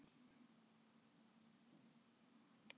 Jafnvel hundruð sjómanna á sjó